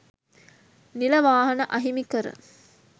නිල වාහන අහිමි කර